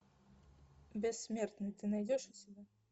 бессмертный ты найдешь у себя